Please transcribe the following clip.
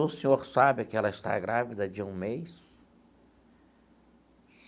O senhor sabe que ela está grávida de um mês?